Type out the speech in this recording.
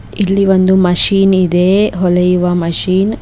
ಇಲ್ಲಿ ಒಂದು ಮಷಿನ್ ಇದೆ ಹೊಲೆಯುವ ಮಷೀನ್ .